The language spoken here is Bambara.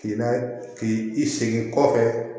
K'i layɛ k'i i segin kɔfɛ